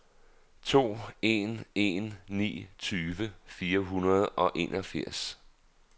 to en en ni tyve fire hundrede og enogfirs